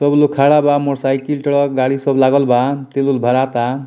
सबलोग खाड़ा बा मोटर साइकिल थोड़ा गाड़ी सब लागल बा तेल-उल भराता।